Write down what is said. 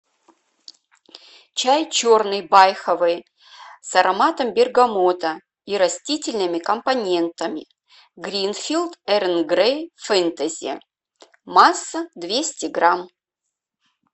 чай черный байховый с ароматом бергамота и растительными компонентами гринфилд эрл грей фэнтези масса двести грамм